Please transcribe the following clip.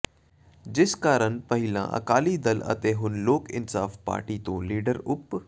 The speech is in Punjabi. ਜਿਸ ਕਾਰਨ ਪਹਿਲਾਂ ਅਕਾਲੀ ਦਲ ਅਤੇ ਹੁਣ ਲੋਕ ਇਨਸਾਫ਼ ਪਾਰਟੀ ਤੋਂ ਲੀਡਰ ਉਧ